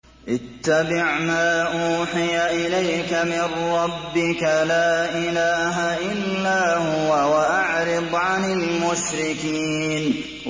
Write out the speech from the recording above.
اتَّبِعْ مَا أُوحِيَ إِلَيْكَ مِن رَّبِّكَ ۖ لَا إِلَٰهَ إِلَّا هُوَ ۖ وَأَعْرِضْ عَنِ الْمُشْرِكِينَ